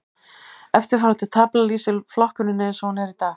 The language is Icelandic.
Eftirfarandi tafla lýsir flokkuninni eins og hún er í dag.